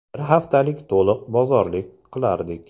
Bir haftalik to‘liq bozorlik qilardik.